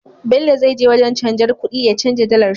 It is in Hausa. Bello zai je wajan canjar kuɗi ya canja dalar sh